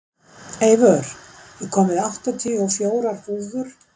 Eivör, ég kom með áttatíu og fjórar húfur!